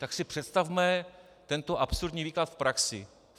Tak si představme tento absurdní výklad v praxi.